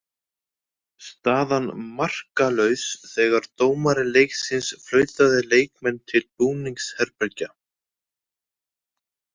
Staðan markalaus þegar dómari leiksins flautaði leikmenn til búningsherbergja.